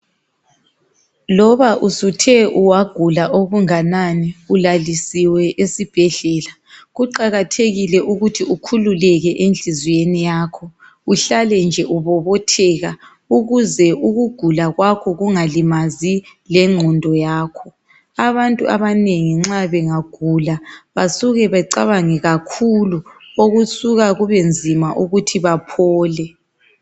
Loba usuthe wagula okunganani ulalisiwe esibhedlela, kuqakathekile ukuthi ukhululeke enhliziweni yakho uhlale nje ubobotheka ukuze ukugula kwakho kungalimazi lengqondo yakho. Abantu abanengi nxa bengagula basuke bacabange kakhulu okusuka kube nzima ukuthi baphole.